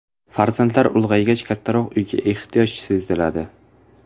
Farzandlar ulg‘aygach, kattaroq uyga ehtiyoj seziladi.